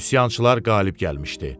Üsyançılar qalib gəlmişdi.